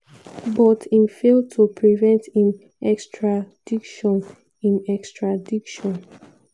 but im fail to prevent im extradition. im extradition.